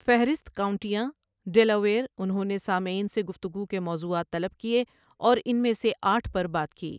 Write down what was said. فہرست كاؤنٹياں ڈيلاويئر انہوں نے سامعین سے گفتگو کے موضوعات طلب کیے اور ان میں سے آٹھ پر بات کی۔